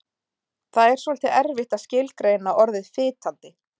Það er svolítið erfitt að skilgreina orðið fitandi.